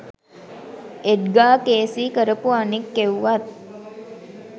එඩ්ගා Cayce කරපු අනික් එව්වත්